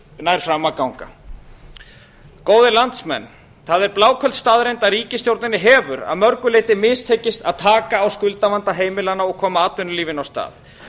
nær fram að ganga góðir landsmenn það er bláköld staðreynd að ríkisstjórninni hefur að mörgu leyti mistekist að taka á skuldavanda heimilanna og koma atvinnulífinu af stað